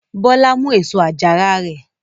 Bọ́lá mú èso àjàrà rẹ?